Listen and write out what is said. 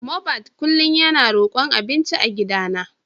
Mohbad kullum yana rokon abinci a gidana.